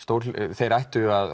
þeir ættu að